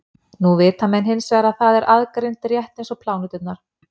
nú vita menn hins vegar að það er aðgreint rétt eins og pláneturnar